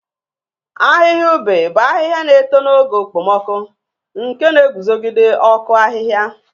Ahịhịa ube bụ ahịhịa na-eto n'oge okpomọkụ, nke na-eguzogide ọkụ ahịhịa.